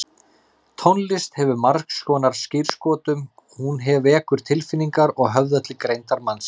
Tónlist hefur margskonar skírskotun, hún vekur tilfinningar og höfðar til greindar mannsins.